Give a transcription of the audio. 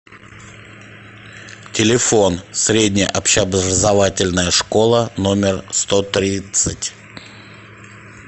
телефон средняя общеобразовательная школа номер сто тридцать